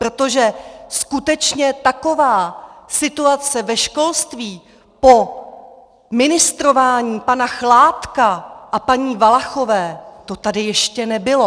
Protože skutečně taková situace ve školství po ministrování pana Chládka a paní Valachové, to tady ještě nebylo.